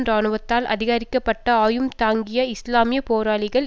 இராணுவத்தால் ஆதரிக்கப்பட்ட ஆயும் தாங்கிய இஸ்லாமிய போராளிகள்